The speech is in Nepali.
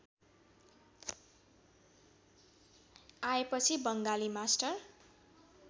आएपछि बङ्गाली मास्टर